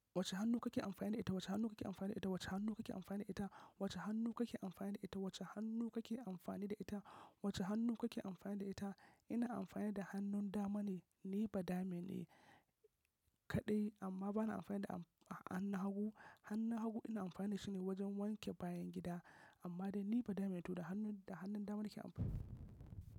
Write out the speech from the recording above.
Wace hannu kake amfani da ita? Wace hannu kake amfani da ita? Wace hannu kake amfani da ita? Wace hannu kake amfani da ita? Wace hannu kake amfani da ita? Wace hannu kake amfani da ita? Ina amfani da hannun dama ne, ni ba dama ne kaɗai amma bana amfani da han-hannu hagu. Hannu hagu ina amfani da shine wajen wanke bayan gida amma dai ni ba dama ne to da hannun, da hannun dama nake amfani.